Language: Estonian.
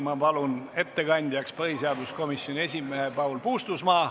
Ma palun ettekandjaks põhiseaduskomisjoni esimehe Paul Puustusmaa.